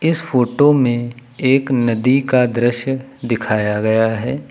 इस फोटो में एक नदी का दृश्य दिखाया गया है।